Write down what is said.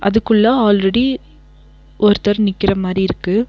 அதுக்குள்ள ஆல்ரெடி ஒருத்தர் நிக்கிற மாரி இருக்கு.